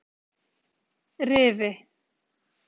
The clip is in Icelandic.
Rifi